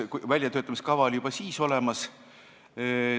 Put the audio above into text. Väljatöötamiskavatsus oli juba siis olemas.